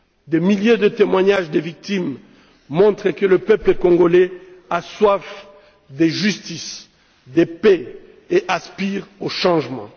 Des milliers de témoignages de victimes montrent que le peuple congolais a soif de justice, de paix et aspire au changement.